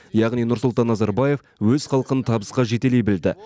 яғни нұрсұлтан назарбаев өз халқын табысқа жетелей білді